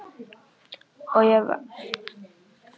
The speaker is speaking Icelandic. Og ég varast að hafa alltaf það sama.